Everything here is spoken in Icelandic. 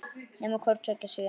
Nema hvort tveggja sé.